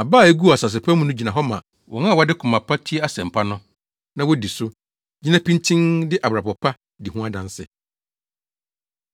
Aba a eguu asase pa mu no gyina hɔ ma wɔn a wɔde koma pa tie asɛmpa no, na wodi so, gyina pintinn de abrabɔ pa di ho adanse.